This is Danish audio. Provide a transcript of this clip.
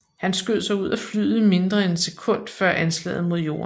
Han skød sig ud af flyet mindre end et sekund før anslaget mod jorden